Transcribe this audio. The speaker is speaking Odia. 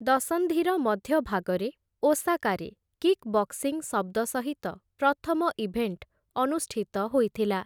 ଦଶନ୍ଧିର ମଧ୍ୟଭାଗରେ, ଓସାକାରେ କିକ୍ ବକ୍ସିଂ ଶବ୍ଦ ସହିତ ପ୍ରଥମ ଇଭେଣ୍ଟ ଅନୁଷ୍ଠିତ ହୋଇଥିଲା ।